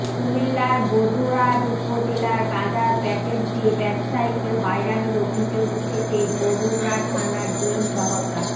কুমিল্লার বরুড়া উপজেলায় গাঁজার প্যাকেট দিয়ে ব্যবসায়ীকে হয়রানির অভিযোগ উঠেছে বরুড়া থানার দুই সহকার